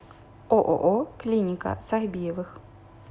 ооо клиника сахбиевых